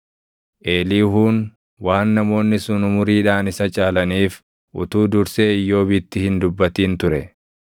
Eliihuun waan namoonni sun umuriidhaan isa caalaniif utuu dursee Iyyoobitti hin dubbatin ture.